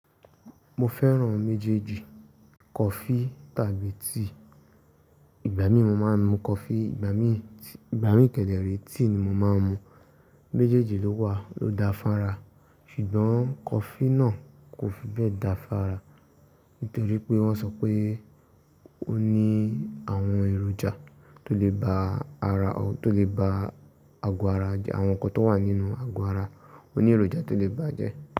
Mo fẹ́ràn méjèèjì coffee tàbí tea. Ìgbà mí mo máa ń mu coffee, ìgbà mí, ìgbà mí kẹdẹrẹ tea ni mo máa ń mu. Méjèèjì ló wà, ló da fún ara. Ṣùgbọ́n coffee náà kò fi bẹ́ẹ̀ da fún ara. Nítorí pé wọ́n sọ pé ó ní àwọn èròjà tó lè ba ara, tó lè ba àgọ́ ara, àwọn ǹkan tó wà nínú àgọ́ ara, ó ní èròjà tó lè bà á jẹ́.